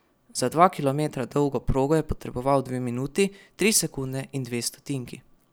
Za dva kilometra dolgo progo je potreboval dve minuti, tri sekunde in dve stotinki.